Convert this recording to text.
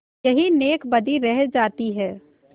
यही नेकबदी रह जाती है